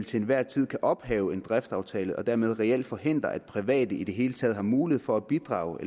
til enhver tid kan ophæve en driftsaftale og dermed reelt forhindre at private i det hele taget har mulighed for at bidrage